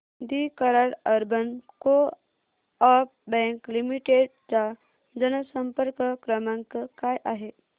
दि Karad urban coop bank limited चा जनसंपर्क क्रमांक काय आहे